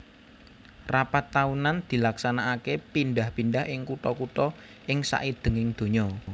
Rapat taunan dilaksanakaké pidhah pindhah ing kutha kutha ing saidhenging donya